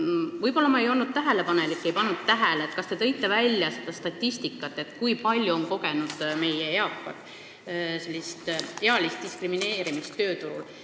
Võib-olla ma ei olnud küllalt tähelepanelik, ent ma ei pannud tähele, kas te tõite välja statistikat, kui palju on vanemad inimesed ealist diskrimineerimist tööturul kogenud.